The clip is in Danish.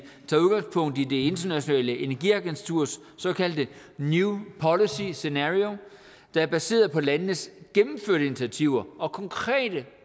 det internationale energiagenturs såkaldte new policies scenario der er baseret på landenes gennemførte initiativer og konkret